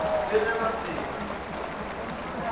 le ge ba se na